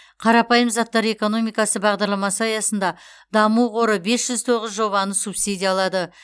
қарапайым заттар экономикасы бағдарламасы аясында даму қоры бес жүз тоғыз жобаны субсидиялады